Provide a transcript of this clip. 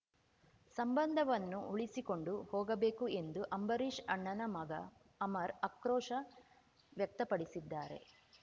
ಸಂಬಂಧವನ್ನು ಉಳಿಸಿಕೊಂಡು ಹೋಗಬೇಕು ಎಂದು ಅಂಬರೀಶ್ ಅಣ್ಣನ ಮಗ ಅಮರ್ ಆಕ್ರೋಶ ವ್ಯಕ್ತಪಡಿಸಿದ್ದಾರೆ